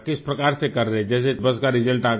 किस प्रकार से कर रहें हैं जैसे बस का रिजल्ट आ गया